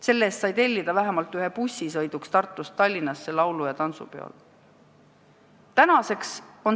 Selle eest sai tellida vähemalt ühe bussi sõiduks Tartust Tallinnasse laulu- ja tantsupeole.